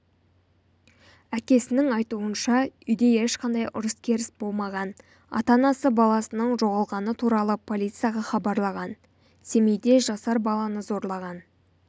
әкесінің айтуынша үйде ешқандай ұрыс-керіс болмаған ата-анасы баласының жоғалғаны туралы полицияға хабарлаған семейде жасар баланы зорлаған